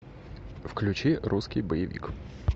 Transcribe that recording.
включи русский боевик